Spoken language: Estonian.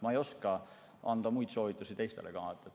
Ma ei oska anda muid soovitusi ka teistele.